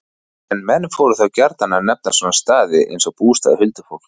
En menn fóru þá gjarnan að nefna svona staði, eins og bústaði huldufólks.